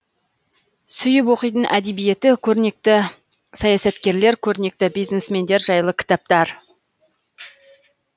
сүйіп оқитын әдебиеті көрнекті саясаткерлер көрнекті бизнесмендер жайлы кітаптар